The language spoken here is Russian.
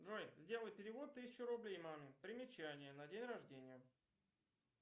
джой сделай перевод тысячу рублей маме примечание на день рождения